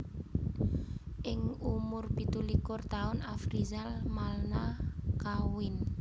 Ing umur pitu likur taun Afrizal Malna kawin